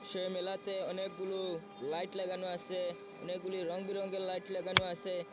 সেই মেলাতে অনেকগুলো লাইট লাগানো আসে অনেকগুলি রংবেরঙের লাইট লাগানো আসে।